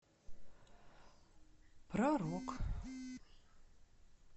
про рок